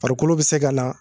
Farikolo bɛ se ka na